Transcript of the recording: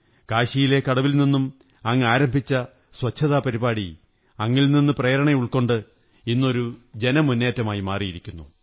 കാശിയിലെ കടവിൽ നിന്നും അങ്ങാരംഭിച്ച സ്വച്ഛതാപരിപാടി അങ്ങിൽ നിന്നു പ്രേരണ ഉള്ക്കൊ ണ്ട് ഇന്നൊരു ജനമുന്നേറ്റമായി മാറിയിരിക്കുന്നു